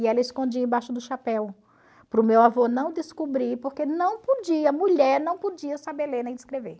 E ela escondia embaixo do chapéu, para o meu avô não descobrir, porque não podia, mulher não podia saber ler nem escrever.